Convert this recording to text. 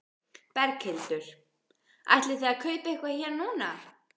Berghildur: Ætlið þið að kaupa eitthvað hér núna?